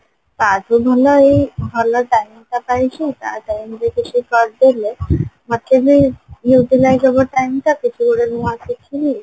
ତା ଥୁ ଭଲ ଏଇ ଭଲ time ଟା ପାଇଛି ତା time ରେ କିଛି କରିଦେଲେ ମୋତେ ବି Utilize ହବ time ଟା କିଛି ଗୋଟେ ନୂଆ ଶିଖିବି